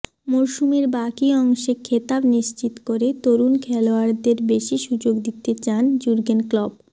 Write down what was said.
মরশুমের বাকি অংশে খেতাব নিশ্চিত করে তরুণ খেলোয়াড়দের বেশি সুযোগ দিতে চান জুর্গেন ক্লপ